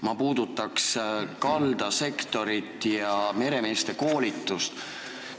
Ma puudutan kaldasektori ja meremeeste koolituse teemat.